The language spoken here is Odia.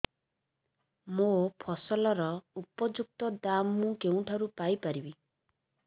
ମୋ ଫସଲର ଉପଯୁକ୍ତ ଦାମ୍ ମୁଁ କେଉଁଠାରୁ ପାଇ ପାରିବି